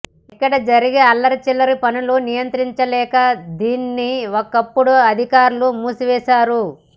ఇక్కడ జరిగే అల్లరి చిల్లరి పనులు నియంత్రించలేక దీనిని ఒకప్పుడు అధికార్లు మూసివేశారు